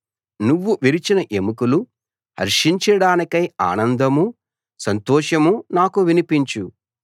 నువ్వు విరిచిన ఎముకలు హర్షించడానికై ఆనందమూ సంతోషమూ నాకు వినిపించు